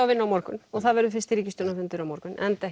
vinnu á morgun og það verður fyrsti ríkisstjórnar fundur á morgun enda